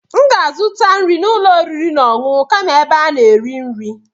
M ga-azụta nri n'ụlọ oriri na ọṅụṅụ kama ebe a na-eri nri.